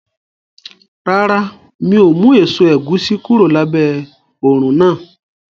Rárá, mi ò mú èso ẹ̀gúsí kúrò lábẹ́ òrùn náà